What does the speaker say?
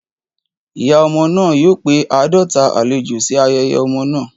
Ìyá ọmọ náà yóò pe àádọ́ta àlejò sí ayẹyẹ ọmọ náà.